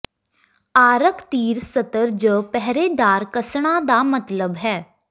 ਆਰਕ ਤੀਰ ਸਤਰ ਜ ਪਹਿਰੇਦਾਰ ਕੱਸਣਾ ਦਾ ਮਤਲਬ ਹੈ